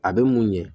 A bɛ mun ɲɛ